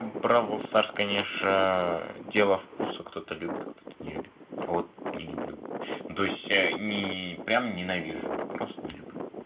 бравл старс конечно дело вкуса кто-то любит кто-то не любит я вот не люблю ну то есть не прямо ненавижу а просто не люблю